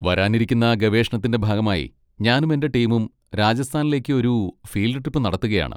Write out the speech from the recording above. വരാനിരിക്കുന്ന ഗവേഷണത്തിന്റെ ഭാഗമായി ഞാനും എന്റെ ടീമും രാജസ്ഥാനിലേക്ക് ഒരു ഫീൽഡ് ട്രിപ്പ് നടത്തുകയാണ്.